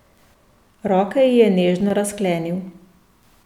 Roke ji je nežno razklenil.